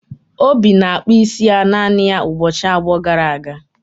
obi na-akpụ isi ya naanị ya ụbọchị abụọ gara aga